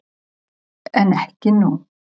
En ekki nú.